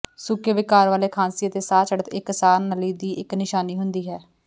ਸੁੱਕੇ ਵਿਕਾਰ ਵਾਲੇ ਖਾਂਸੀ ਅਤੇ ਸਾਹ ਚੜ੍ਹਤ ਇੱਕ ਸਾਹ ਨਲੀ ਦੀ ਇੱਕ ਨਿਸ਼ਾਨੀ ਹੁੰਦੀ ਹੈ